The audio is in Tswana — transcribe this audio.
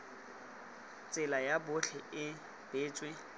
tsela ya botlhe e beetswe